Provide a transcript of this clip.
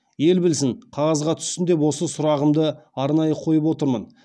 ел білсін қағазға түссін деп осы сұрағымды арнайы қойып отырмын